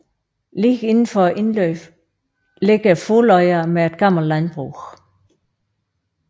Lige indenfor indløbet ligger Fugløya med et gammelt landbrug